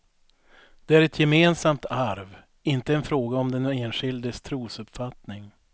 Det är ett gemensamt arv, inte en fråga om den enskildes trosuppfattning.